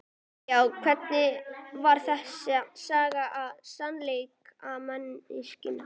Já, hvernig var þessi saga með smalamennskuna?